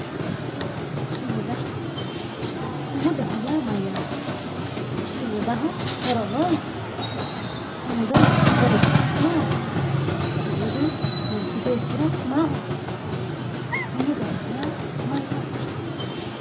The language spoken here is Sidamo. Sumuda sumudaho yaa Mayyaate? Sumudaho horo noosi? Sumudanniti horosi maati? Sumudu manichi beetira maaho kaa'lano? sumudaho yaa Mayyaate?